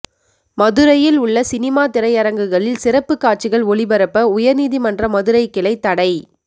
மதுரையில் உள்ள சினிமா திரையரங்குகளில் சிறப்பு காட்சிகள் ஒளிபரப்ப உயர்நீதிமன்ற மதுரை கிளை தடை